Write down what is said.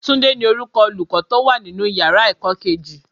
Túndé ní orúkọ Olùkọ́ tó wà nínú ìyára ẹ̀kọ́ kejì.